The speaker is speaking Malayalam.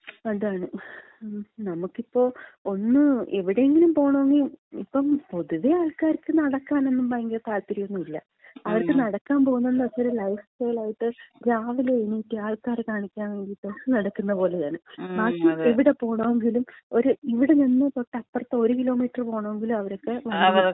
അതാണ്. നമുക്കിപ്പോ ഒന്ന് എവിടേങ്കിലും പോണോങ്കി, ഇപ്പെ പൊതുവെ ആൾക്കാർക്ക് നടക്കാനൊന്നും ഭയങ്കര താല്പര്യോന്നും ഇല്ല. അവർക്ക് നടക്കാമ്പോകുന്നത്ന്ന് വച്ചാല് ലൈഫ്സ്റ്റൽ ആയിട്ട് രാവിലെ എണീക്കാ, ആൾക്കാരെ കാണിക്കാൻ വേണ്ടീട്ട് നടക്കുന്നത് പോലെയാണ്. ബാക്കി എവിടെ പോണോങ്കിലും, ഇവിടന്ന് തൊട്ടപ്പറത്ത് 1 കിലോമീറ്റർ പോണോങ്കിലും അവർക്ക് നടക്കാൻ വയ്യ.